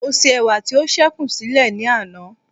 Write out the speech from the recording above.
mo se ẹwà ti o sekun sile ni ana